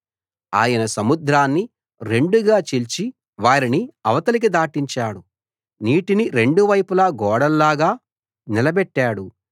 ఆయన సముద్రాన్ని రెండుగా చీల్చి వారిని అవతలికి దాటించాడు నీటిని రెండు వైపులా గోడల్లాగా నిలబెట్టాడు